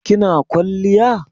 kina kwaliya?